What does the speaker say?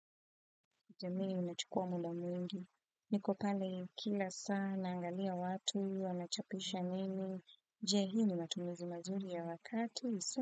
Kutembea inachukua muda mwingi. Niko pale kila saa naangalia watu wanachapisha nini. Je hii ni matumizi mazuri ya wakati.